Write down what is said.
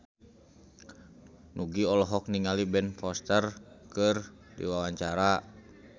Nugie olohok ningali Ben Foster keur diwawancara